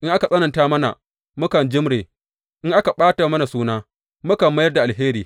In aka tsananta mana, mukan jimre; in aka ɓata mana suna, mukan mayar da alheri.